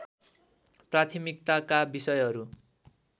प्राथमिकताका विषयहरू